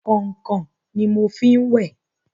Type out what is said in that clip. Kọ̀nkọ̀n ni mo fi ń wẹ̀.